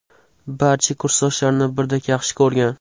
Barcha kursdoshlarini birdek yaxshi ko‘rgan.